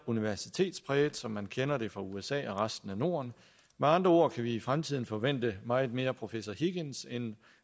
universitetspræge som man kender det fra usa og resten af norden med andre ord kan vi i fremtiden forvente meget mere professor higgins end